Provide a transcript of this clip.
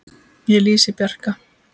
Ég lýsi Bjarka